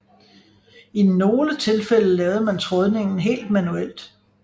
I nogle tilfælde lavede man trådningen helt manuelt